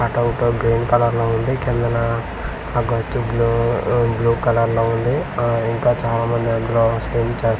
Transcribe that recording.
ఆ green colour లో ఉంది కిందన ఆ గచ్చు బ్లూ ఆ బ్లూ కలర్ లో ఉంది ఆ ఇంకా చాలామంది అందులో స్విమ్ చేస్తున్నారు.